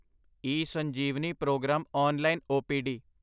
eSanjeevani programme online OPD